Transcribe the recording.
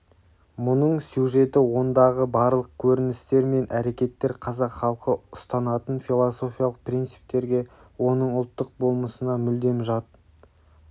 мұның сюжеті ондағы барлық көріністер мен әрекеттер қазақ халқы ұстанатын философиялық принциптерге оның ұлттық болмысына мүлдем жат